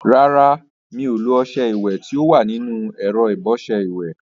Rárá, mi ò lo ọṣẹ ìwẹ̀ tí ó wà nínú ẹ̀rọ ìbọṣẹ ìwẹ̀.